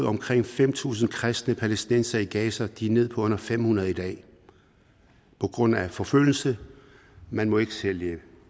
omkring fem tusind kristne palæstinensere i gaza de er nede på under fem hundrede i dag på grund af forfølgelse man må ikke sælge